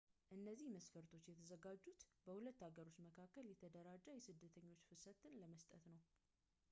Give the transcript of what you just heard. እነዚህ መስፈርቶች የተዘጋጁት በሁለቱ ሀገሮች መካከል የተደራጀ የስደተኞች ፍሰትን ለመስጠት ነው